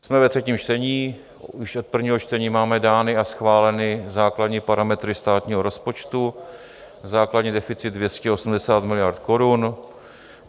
Jsme ve třetím čtení, už od prvního čtení máme dány a schváleny základní parametry státního rozpočtu, základní deficit 280 miliard korun.